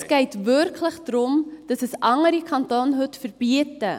Es geht wirklich darum, dass andere Kantone dies heute verbieten.